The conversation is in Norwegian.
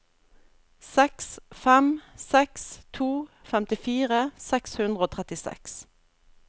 seks fem seks to femtifire seks hundre og trettiseks